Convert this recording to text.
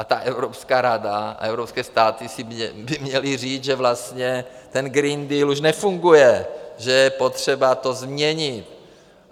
A ta Evropská rada a evropské státy by si měly říct, že vlastně ten Green Deal už nefunguje, že je potřeba to změnit.